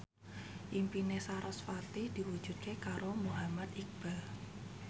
impine sarasvati diwujudke karo Muhammad Iqbal